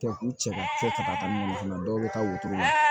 Kɛ k'u cɛ ka to ka taa ka mun fana dɔn u bɛ taa wotoro la